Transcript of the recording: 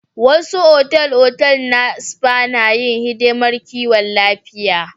Wasu otal-otal na spa na yin hidimar kiwon lafiya.